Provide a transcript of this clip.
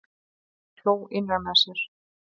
Hann hló innra með sér.